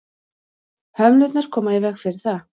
hömlurnar koma í veg fyrir það